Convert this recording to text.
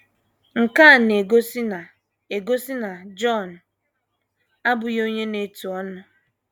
Nke a na - egosi na - egosi na Jọn abụghị onye na - etu ọnụ.